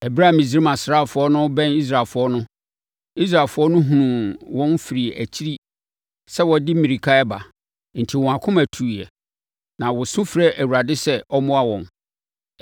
Ɛberɛ a Misraim asraafoɔ no rebɛn Israelfoɔ no, Israelfoɔ no hunuu wɔn firi akyiri sɛ wɔde mmirika reba enti wɔn akoma tuiɛ, na wɔsu frɛɛ Awurade sɛ ɔmmoa wɔn.